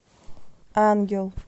ангел